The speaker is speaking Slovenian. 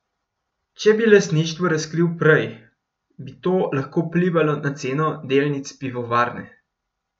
Če bi lastništvo razkril prej, bi to lahko vplivalo na ceno delnic pivovarne.